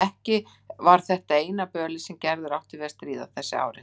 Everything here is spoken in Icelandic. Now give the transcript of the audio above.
Ekki var þetta eina bölið sem Gerður átti við að stríða þessi árin.